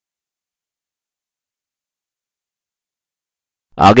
अब बदलावों को डिलीट करते हैं